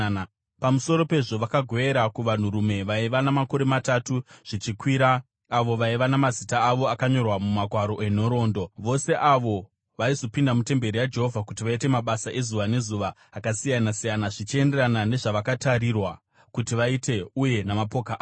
Pamusoro pezvo vakagovera kuvanhurume vaiva namakore matatu zvichikwira avo vaiva namazita avo akanyorwa mumagwaro enhoroondo, vose avo vaizopinda mutemberi yaJehovha kuti vaite mabasa ezuva nezuva akasiyana-siyana, zvichienderana nezvavakatarirwa kuti vaite uye namapoka avo.